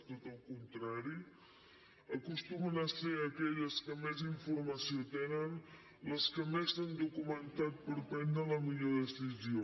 tot el contrari acostumen a ser aquelles que més informació tenen les que més s’han documentat per prendre la millor decisió